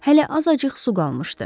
Hələ azacıq su qalmışdı.